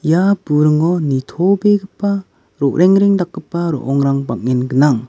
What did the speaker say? ia buringo nitobegipa ro·rengreng dakgipa ro·ongrang bang·en gnang.